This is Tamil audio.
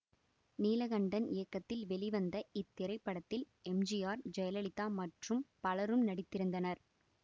நீலகண்டன் இயக்கத்தில் வெளிவந்த இத்திரைப்படத்தில் எம் ஜி ஆர் ஜெயலலிதா மற்றும் பலரும் நடித்திருந்தனர்